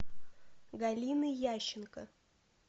галины ященко